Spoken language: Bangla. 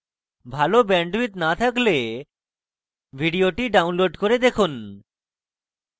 ভাল bandwidth না থাকলে ভিডিওটি download করে দেখুন